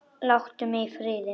Láttu mig í friði!